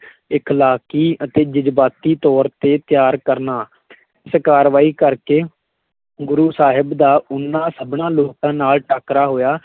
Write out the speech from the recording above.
ਇਖਲਾਕੀ ਅਤੇ ਜਜ਼ਬਾਤੀ ਤੌਰ ਤੇ ਤਿਆਰ ਕਰਨਾ ਇਸ ਕਰਵਾਈ ਕਰਕੇ, ਗੁਰੂ ਸਾਹਿਬ ਦਾ ਉਹਨਾਂ ਸਭਨਾਂ ਲੋਕਾਂ ਨਾਲ ਟਾਕਰਾ ਹੋਇਆ,